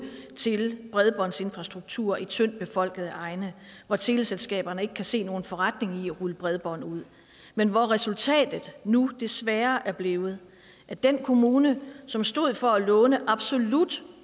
til bredbåndsinfrastrukturer i tyndt befolkede egne hvor teleselskaberne ikke kan se nogen forretning i at rulle bredbånd ud men resultatet er nu desværre blevet at den kommune som stod for at låne absolut